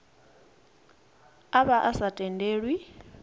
a vha a sa tendelwi